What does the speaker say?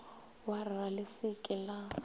warra le se ke la